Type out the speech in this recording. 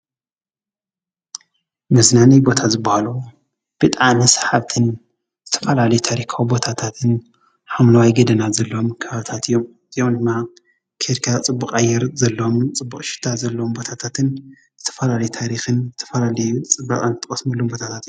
መፅለሊ ቦታ ዝበሃሉ ብጣዕሚ ስሓብትን ዝተፈላለዩ ታሪካዊ ቦታታትን ሓምለዋይ ገደናን ዘለዎም ከባብታት እዮም። እዚኦም ድማ ኬድካ ፅቡቅ ኣየር ዘለዎምን ፅቡቅ ሽታ ዘለዎም ቦታታትን ዝተፈላለዩ ታሪክን ዝተፈላለዩ ፅባቐን ትቐስምሎም ቦታታት እዮም።